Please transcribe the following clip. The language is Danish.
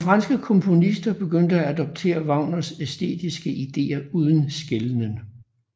Nogle franske komponister begyndte at adoptere Wagners æstetiske ideer uden skelnen